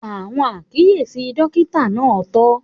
Àwọn àkíyèsí dókítà náà tọ́.